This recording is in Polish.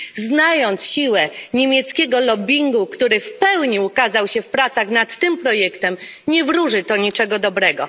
Znając siłę niemieckiego lobbingu, który w pełni ukazał się w pracach nad tym projektem, nie wróży to niczego dobrego.